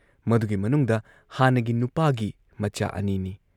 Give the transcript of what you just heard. ꯃꯗꯨꯒꯤ ꯃꯅꯨꯡꯗ ꯍꯥꯟꯅꯒꯤ ꯅꯨꯄꯥꯒꯤ ꯃꯆꯥ ꯑꯅꯤ ꯅꯤ ꯫